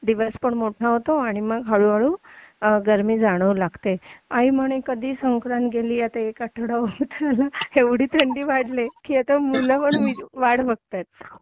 दिवस पण मोठा होतो आणि मग हळूहळू गर्मी जाणव लागते आई म्हणे कधी संक्रांत गेली एक आठवडा होत आला एवढी थंडी वाढलीये की आता मुलं पण वाट बघतायेत